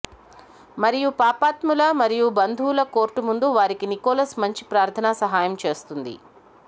మరియు పాపాత్ముల మరియు బంధువులు కోర్టు ముందు వారికి నికోలస్ మంచి ప్రార్థన సహాయం చేస్తుంది